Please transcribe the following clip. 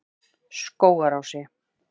Skógarási